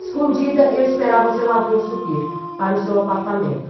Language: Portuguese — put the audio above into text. Escondida, eu esperava o zelador subir para o seu apartamento.